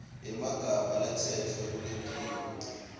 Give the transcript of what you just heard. yemagama latsetfwe kuletinye